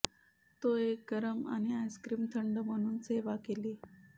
तो एक गरम आणि आइस्क्रीम थंड म्हणून सेवा केली